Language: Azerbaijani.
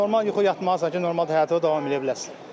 Normal yuxu yatmalısan ki, normalda həyatına davam eləyə biləsən.